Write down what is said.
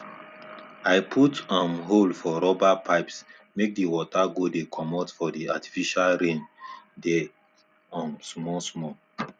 i put um hole for rubber pipesmake the water go dey commot for the artificial rain dey um small small